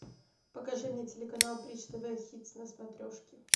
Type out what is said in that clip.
покажи мне телеканал бридж тв хитс на смотрешке